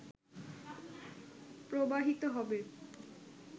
প্রবাহিত হবে